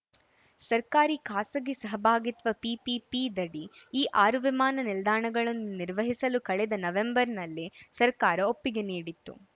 ಸರ್ಕಾರಿಖಾಸಗಿ ಸಹಭಾಗಿತ್ವ ಪಿಪಿಪಿದಡಿ ಈ ಆರು ವಿಮಾನ ನಿಲ್ದಾಣಗಳನ್ನು ನಿರ್ವಹಿಸಲು ಕಳೆದ ನವೆಂಬರ್‌ನಲ್ಲೇ ಸರ್ಕಾರ ಒಪ್ಪಿಗೆ ನೀಡಿತ್ತು